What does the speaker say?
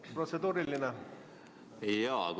Kas protseduuriline küsimus?